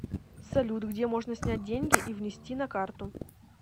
салют где можно снять деньги и внести на карту